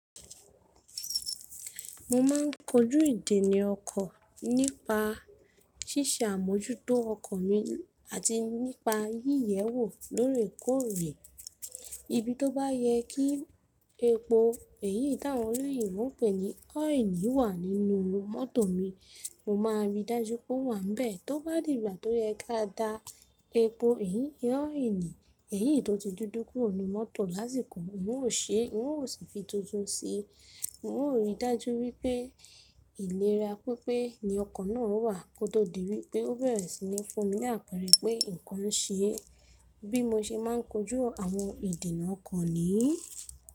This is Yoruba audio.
Mo máa ń kojú ìdènà ọkọ̀ nípa ṣíṣe àmójútó ọkọ̀ mi àti nípa yíyẹwò lóòrèkóòrè. Ibi tó bá yẹ kí epo, èyí táwọn olóyè ń pè ní ọ́ìlí wà nínú mọ́tò mi, mo máa ríi dájú pé ó wà bẹ́ẹ̀. Tó bá digbà tó yẹ ká da epo, èyí ni ọ́ìlí, èyí tó ti dídú kúrò ní mọ́tò lásìkò, n ò ṣe, n ò sì fi tuntun sí i. N ó ríi dájú wípé ìléra pípé ni ọkọ̀ náà ó wà kó tó di wípé ó bẹ̀rẹ̀ sí ní fún mi ni ápeere pé nǹkan ń ṣe. Bí mo ṣe máa ń kojú àwọn ìdènà ọkọ̀ niyi.